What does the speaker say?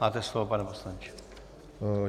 Máte slovo, pane poslanče.